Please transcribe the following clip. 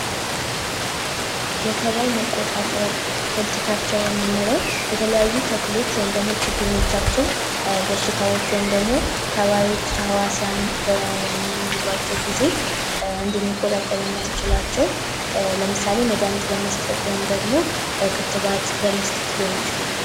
የተባይ መቆጣጠር ሆልቲ ካልቸር የምንለው የተለያዩ ተክሎች ወይም ደግሞ ችግኞቻችን በሽታዎች ወይም ደግሞ ተባዮች ተህዋሲያን በሚይዟቸው ጊዜ እንድንቆጣጠር የሚያስችላቸው ለምሳሌ መድኃኒት በመስጠት ወይም ደግሞ ክትባት በመስጠት ሊሆን ይችላል።